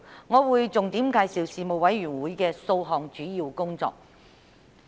我會重點介紹事務委員會的數項主要工作。